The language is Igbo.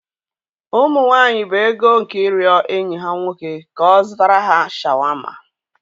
Ụmụ nwanyị bụ ego nke ịrịọ enyi ha nwoke ka ọ zụtara ha shawarma.